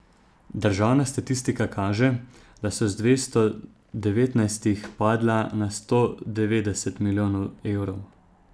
Državna statistika kaže, da so z dvesto devetnajstih padla na sto devetdeset milijonov evrov.